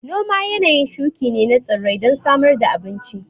Noma yanayin shuƙi ne na tsirrai don samar da abun ci